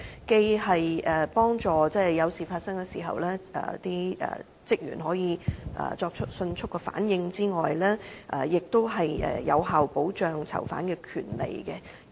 既可以在事件發生時，幫助職員迅速作出反應，亦有效保障囚犯權利。